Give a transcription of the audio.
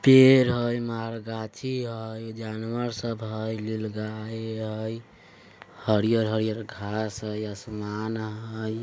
पेर है मरघटी है जानवर सब है नीलगाय है हरियल-हरियर घास है आसमान है।